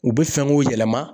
U bɛ fɛn k'u yɛlɛma.